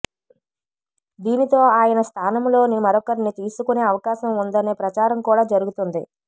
దీనితో ఆయన స్థానంలో మరొకరిని తీసుకునే అవకాశం ఉందనే ప్రచారం కూడా జరుగుతుంది